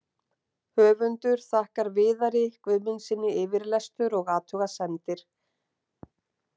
Höfundur þakkar Viðari Guðmundssyni yfirlestur og athugasemdir.